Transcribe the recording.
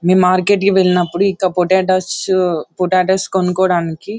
నేను మార్కెట్ కి వెళ్ళినప్పుడు అక్కడ పొటాటోస్ పొటాటోయే కొనుకోవడానికి --